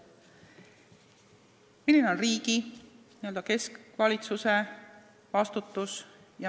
Milline on riigi, n-ö keskvalitsuse vastutus?